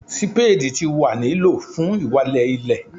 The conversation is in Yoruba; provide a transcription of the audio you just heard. sípédì ti wa ni lo fun walẹ ile